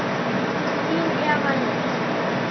Þín Eva Lind.